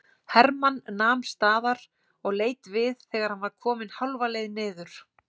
Hermann nam staðar og leit við þegar hann var kominn hálfa leið niður.